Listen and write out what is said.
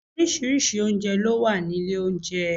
Orísìírísìí oúnjẹ ló wá nílé oúnjẹ